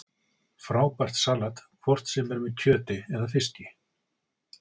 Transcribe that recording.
Frábært salat hvort sem er með kjöti eða fiski